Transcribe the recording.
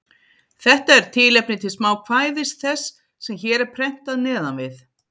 Þetta er tilefni til smákvæðis þess, sem hér er prentað neðan við.